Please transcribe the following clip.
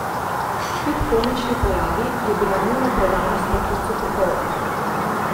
Kljub komični pojavi, je bila njuna predanost poklicu popolna.